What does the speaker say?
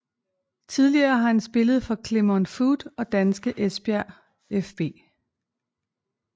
Tidligere har han spillet for Clermont Foot og danske Esbjerg fB